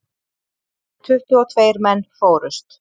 Tuttugu og tveir menn fórust.